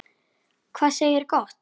Hvað segirðu gott?